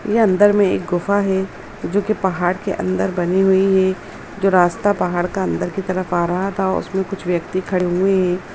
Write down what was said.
यह अंदर में एक गुफा हैं जो कि पहाड़ के अंदर बनी हुई हैं जो रास्ता पहाड़ का अंदर की तरफ आ रहा था उसमें कुछ व्यक्ति खड़े हुए हैं।